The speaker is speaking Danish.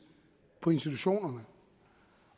på institutionerne